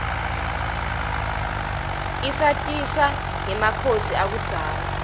isatisa rgemakhosi akubdzala